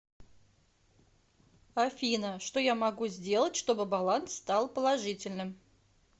афина что я могу сделать чтобы баланс стал положительным